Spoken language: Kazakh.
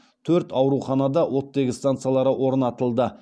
төрт ауруханада оттегі станциялары орнатылды